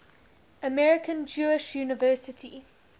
american jewish university